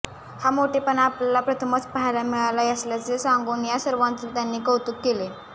हा मोठेपणा आपल्याला प्रथमच पाहायला मिळाला असल्याचे सांगून या सर्वाचे त्यांनी कौतुक केले